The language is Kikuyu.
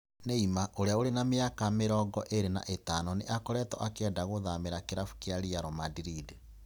Neymar, ũrĩa ũrĩ na mĩaka mĩaka mĩrongo ĩĩri na ĩtano nĩ akoretwo akĩenda kuthamĩra kĩrabu kia Real Madrid.